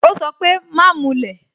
Ó sọ pé "Má mulẹ̀